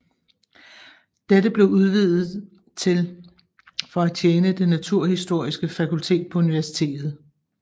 Dette blev udvidet til for at tjene det naturhistoriske fakultet på universitet